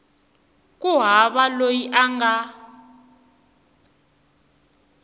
ku hava loyi a nga